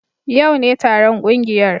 Yau ne taron kungiyar